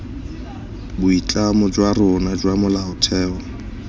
boitlamo jwa rona jwa molaotheo